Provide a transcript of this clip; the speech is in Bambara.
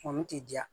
Kɔni tɛ diya